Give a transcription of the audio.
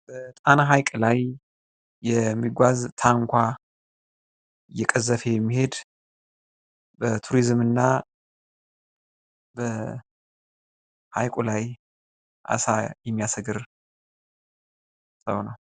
በጣና ሀይቅ ላይ የሚጓዝ ታንኳ እየቀዘፈ የሚሄድ በቱሪዝም እና በሀይቁ ላይ አሳ የሚያስግር ሰው ነው።